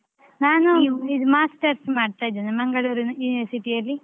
ಇದು masters ಮಾಡ್ತಾ ಇದ್ದೇನೆ Mangalore ನ university ಅಲ್ಲಿ.